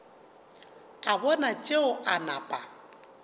a bona tšeo a napa